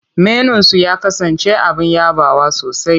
Menunsu ya kasance abin yabawa sosai.